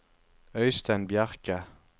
Øistein Bjerke